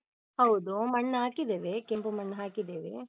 ಹೌದು. ಮಣ್ಣು ಹಾಕಿದ್ದೇವೆ, ಕೆಂಪು ಮಣ್ಣು ಹಾಕಿದ್ದೇವೆ.